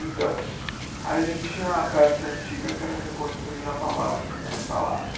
Então, a gente tinha a peça antiga que era Reconstruindo a Palavra, que eu tinha falado.